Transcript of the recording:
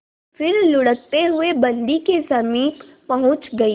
फिर लुढ़कते हुए बन्दी के समीप पहुंच गई